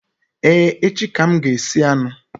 Ee, echi ka m ga-esi anụ